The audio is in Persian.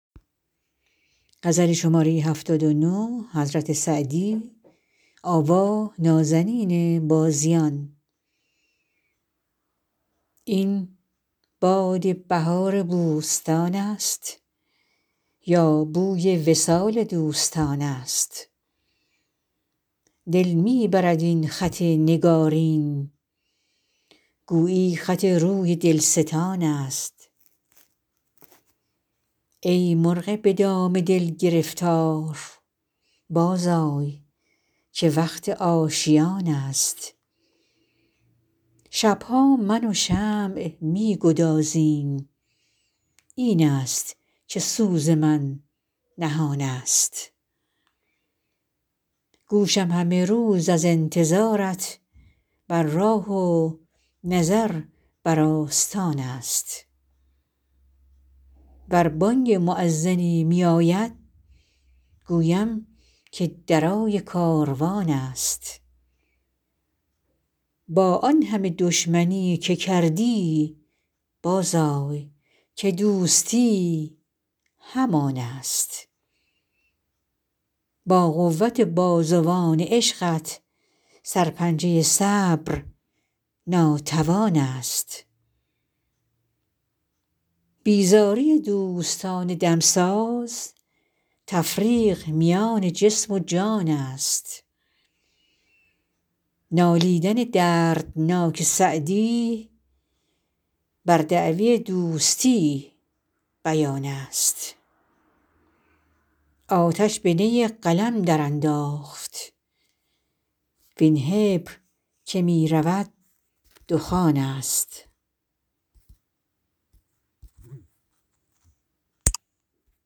این باد بهار بوستان است یا بوی وصال دوستان است دل می برد این خط نگارین گویی خط روی دلستان است ای مرغ به دام دل گرفتار بازآی که وقت آشیان است شب ها من و شمع می گدازیم این است که سوز من نهان است گوشم همه روز از انتظارت بر راه و نظر بر آستان است ور بانگ مؤذنی میاید گویم که درای کاروان است با آن همه دشمنی که کردی بازآی که دوستی همان است با قوت بازوان عشقت سرپنجه صبر ناتوان است بیزاری دوستان دمساز تفریق میان جسم و جان است نالیدن دردناک سعدی بر دعوی دوستی بیان است آتش به نی قلم درانداخت وین حبر که می رود دخان است